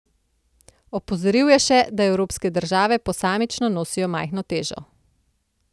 Opozoril je še, da evropske države posamično nosijo majhno težo.